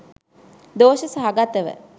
දෝෂ සහගතව